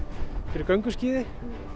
fyrir gönguskíði